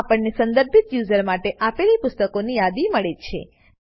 આમ આપણને સંદર્ભિત યુઝર માટે આપેલી પુસ્તકોની યાદી મળે છે